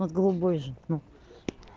вот голубой же ну